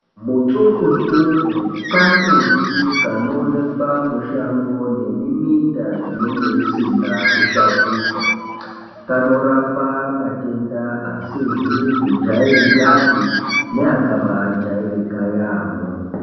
Mutsungutsungu kambuti kanoonekwa mushango nemiminda inenge usina kushakurwa. Kanorapa matenda asizi kujairikapi neakabajairika yaamho.